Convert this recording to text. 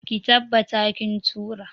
Ki tabbata kin tura!.